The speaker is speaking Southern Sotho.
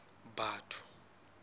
batho